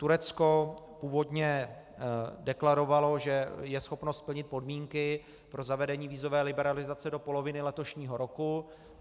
Turecko původně deklarovalo, že je schopno splnit podmínky pro zavedení vízové liberalizace do poloviny letošního roku.